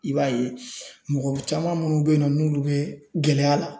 I b'a ye mɔgɔ caman minnu beyinɔ n'olu bɛ gɛlɛya la.